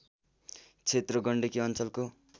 क्षेत्र गण्डकी अञ्चलको